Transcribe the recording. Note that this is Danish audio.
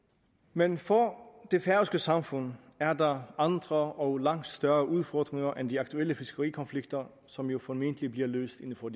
men for det færøske samfund er der andre og langt større udfordringer end de aktuelle fiskerikonflikter som jo formentlig bliver løst inden for